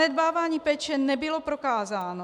Zanedbávání péče nebylo prokázáno.